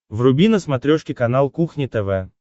вруби на смотрешке канал кухня тв